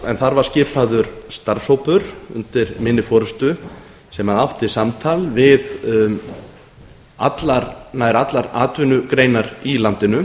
en þar var skipaður starfshópur undir minni forustu sem átti samtal við nær allar atvinnugreinar í landinu